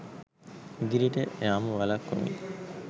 ඉදිරියට යාම වළක්වමින්